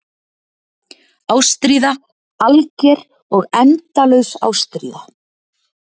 Ástríða, alger og endalaus ástríða.